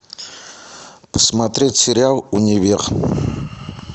посмотреть сериал универ